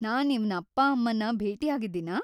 ನಾನ್‌ ಇವ್ನ ಅಪ್ಪ-ಅಮ್ಮನ್ನ ಭೇಟಿಯಾಗಿದ್ದೀನಾ?